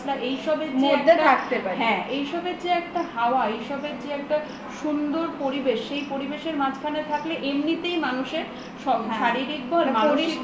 এসবের যে একটা হাওয়া এসবের যে একটা সুন্দর পরিবেশ সেই পরিবেশের মাঝখানে থাকলে এমনিতেই মানুষের শারীরিক বল মানসিক বল